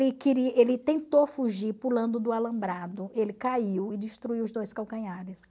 ele tentou fugir pulando do alambrado, ele caiu e destruiu os dois calcanhares.